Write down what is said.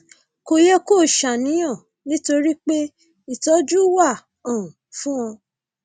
kò yẹ kó o ṣàníyàn nítorí pé ìtọjú wà um fún un